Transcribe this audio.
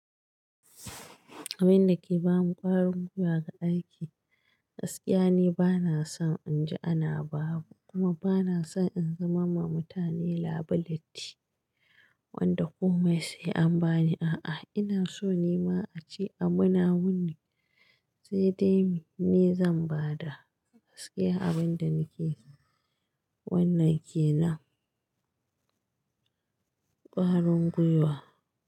Abin da ke ba ni ƙwarin gwiwa ga aiki, gaskiya ni bana son in ji ana babu kuma bana son in zama ma mutane liability wanda kome sai an bani. A'a, ina so nima a ce abu na wane sedai ni zan bada, sai abinda nake, wannan kenan, kwarin gwiwa.